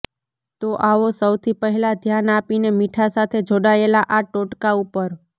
તો આવો સૌથી પહેલા ધ્યાન આપીએ મીઠા સાથે જોડાયેલા આ ટોટકા ઉપર